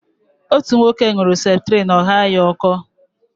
Otú nwoke ṅuru septrin ọ ghaa ya ọkọ